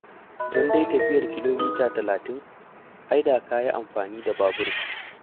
Don dai tafiyar kilomita talatin; ai da ka yi amfani da babur.